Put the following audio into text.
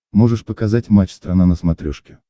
можешь показать матч страна на смотрешке